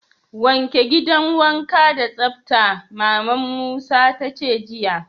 Wanke gidan wanka da tsabta! Mama'n Musa ta ce jiya.